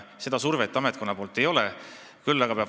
Seda survet ametkonna poolt igal juhul ei ole.